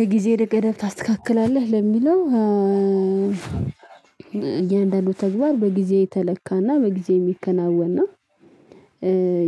የጊዜ ገደብ ታስተካክላለህ ለሚለው እያንዳንዱ ተግባር በጊዜ የተለካና በጊዜ የሚከናወን ነው።